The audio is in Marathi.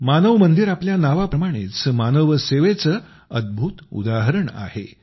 मानव मंदिर आपल्या नावाप्रमाणेच मानव सेवेचं अद्भुत उदाहरण आहे